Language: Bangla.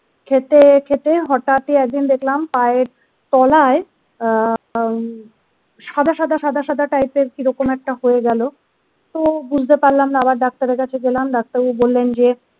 খেতে খেতে হঠাৎই একদিন দেখলাম পায়ের তলায় আ সাদা সাদা সাদা সাদা টাইপের কিরকম একটা হয়ে গেল তো বুজতে পারলাম না আবার ডাক্তার এর কাছে গেলাম ডাক্তার বাবু বললেন যে।